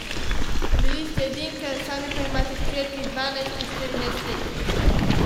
Bili ste edinka, sami pa imate hčerki, stari dvanajst in štirinajst let.